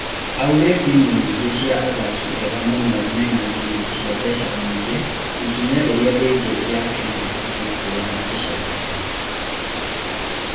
Augire timũ iria nyingĩ cina athaki ega mũno mena ngirimiti cia mbeca nyingĩ ikinya rĩrĩa rigi ya Kenya ibatiĩ kuoya ica ikuhĩ.